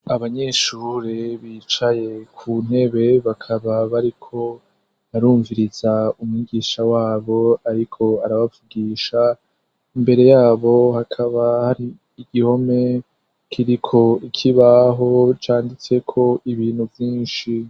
Abanyeshure bicaye kuntebe bakaba bariko barumviriza umwigisha wabo ariko arabavugisha. Imbere yabo hakaba hari igihome kiriko ikibaho canditseko ibintu vyinshi.